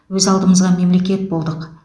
өз алдымызға мемлекет болдық